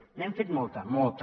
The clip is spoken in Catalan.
n’hem fet molta molta